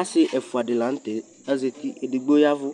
asii ɛƒʋa di lantɛ azati, ɛdigbɔ yavʋ